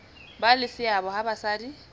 ba le seabo ha basadi